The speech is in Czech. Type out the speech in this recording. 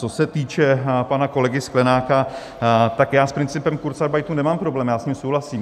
Co se týče pana kolegy Sklenáka, tak já s principem kurzarbeitu nemám problém, já s ním souhlasím.